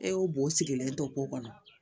E y'o bo o sigilen to ko kɔnɔ